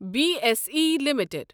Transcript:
B S E limited